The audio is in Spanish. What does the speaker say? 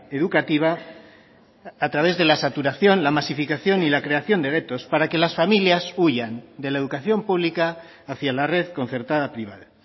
educativa a través de la saturación la masificación y la creación de guetos para que las familias huyan de la educación pública hacia la red concertada privada